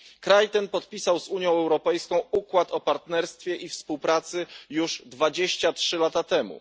Kraj ten podpisał z Unią Europejską układ o partnerstwie i współpracy już 23 lata temu.